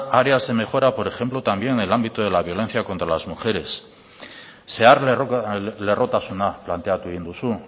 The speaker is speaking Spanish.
áreas de mejora por ejemplo también en el ámbito de la violencia contra las mujeres zeharlerrotasuna planteatu egin duzu